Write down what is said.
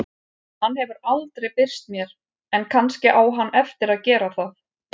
Hann hefur aldrei birst mér en kannski á hann eftir að gera það.